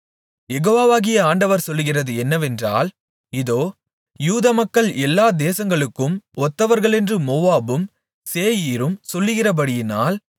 யெகோவாகிய ஆண்டவர் சொல்லுகிறது என்னவென்றால் இதோ யூதமக்கள் எல்லா தேசங்களுக்கும் ஒத்தவர்களென்று மோவாபும் சேயீரும் சொல்லுகிறபடியினால்